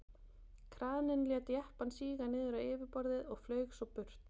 kraninn lét jeppann síga niður á yfirborðið og flaug svo burt